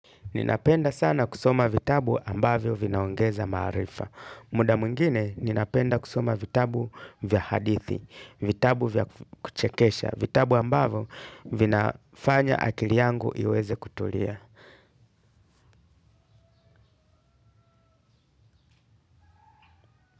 Ninapenda sana kusoma vitabu ambavyo vinaongeza maarifa. Muda mwengine ninapenda kusoma vitabu vya hadithi, vitabu vya kuchekesha, vitabu ambavyo vinafanya akili yangu iweze kutulia.